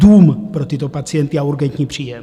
Dům pro tyto pacienty a urgentní příjem.